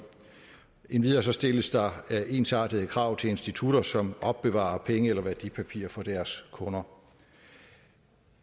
endvidere stilles der ensartede krav til institutter som opbevarer penge eller værdipapirer for deres kunder